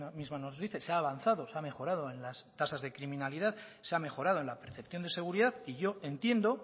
misma nos dice se ha avanzado se ha mejorado en las tasas de criminalidad se ha mejorado en la percepción de seguridad y yo entiendo